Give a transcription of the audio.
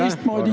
Aitäh!